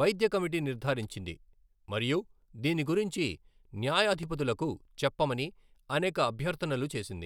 వైద్య కమిటీ నిర్ధారించింది మరియు దీని గురించి న్యాయాధిపతులకు చెప్పమని అనేక అభ్యర్థనలు చేసింది.